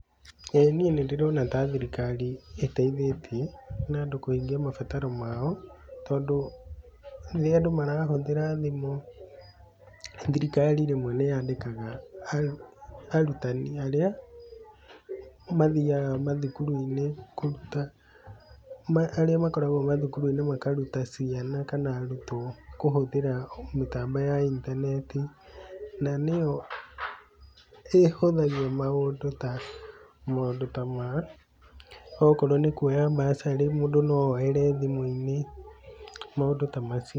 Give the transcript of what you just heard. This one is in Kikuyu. Ĩ niĩ nĩ ndĩrona ta thirikari ĩteithĩtie na andũ kũhingia mabataro mao tondũ rĩrĩa andũ marahũthĩra thimũ, thirikari rĩmwe nĩ yandĩkaga arutani arĩa mathiaga mathukuru-inĩ kũruta, arĩa makoragwo mathukuru-inĩ makaruta ciana kana arutwo kũhũthĩra mĩtambo ya intaneti, na nĩ yo ĩhũthagia maũndũ ta maũndũ ta ma, okorwo nĩ kũoya bursary, mũndũ no oere thimũ-inĩ, maũndũ ta macio.